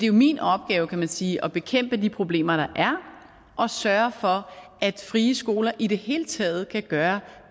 jo min opgave kan man sige at bekæmpe de problemer der er og sørge for at frie skoler i det hele taget kan gøre